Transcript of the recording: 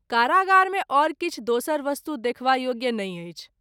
कारागार मे आओर किछु दोसर वस्तु देखबा योग्य नहिं अछि।